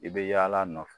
I bɛ yaala a nɔfɛ